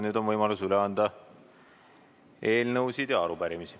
Nüüd on võimalus üle anda eelnõusid ja arupärimisi.